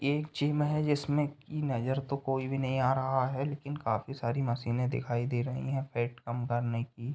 ये एक जिम है जिमसे की नज़र तो कोई भी नज़र नहीं आ रहा है लेकिन काफी सारी मशीने दिखाई दे रही हैं पेट कम करने की।